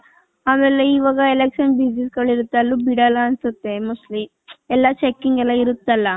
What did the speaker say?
ಆಮೇಲೆ ಇವಾಗ election busy ಅಲ್ಲೂ ಬಿಡಲ್ಲ ಅನ್ಸುತ್ತೆ mostly .ಎಲ್ಲಾ ಚೆಕ್ಕಿಂಗ್ ಎಲ್ಲಾ ಇರುತ್ತೆ ಅಲ್ಲ .